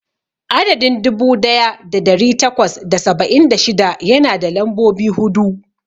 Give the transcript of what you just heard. Adadin dubu daya da dari takwas da saba'in da shida yana da lambobi hudu.